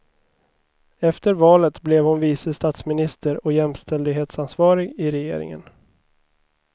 Efter valet blev hon vice statsminister och jämställdhetsansvarig i regeringen.